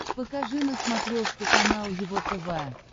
покажи на смотрешке канал его тв